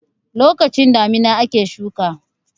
lokacin damina ake shuka